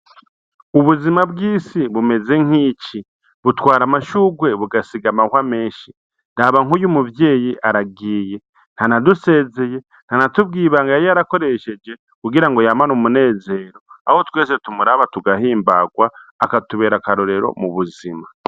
Ubuzima bw'isi bumeze nkici butwara amashurwe bugasiga amahwa menshi raba nkuyu muvyeyi aragiye ntanadusezeye ntanatubwiye ibanga yakoresheje kugirango yamane umunezero aho twese tumuraba tugahimbagwa akatubera akarorero mu buzima.